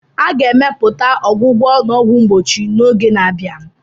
A ga-emepụta ọgwụgwọ na ọgwụ mgbochi ka mma n'oge na-abịa.